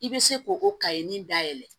I bɛ se k'o o kaɲi nin dayɛlɛ